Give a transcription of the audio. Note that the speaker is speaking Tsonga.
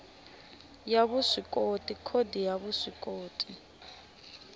ya vuswikoti khodi ya vuswikoti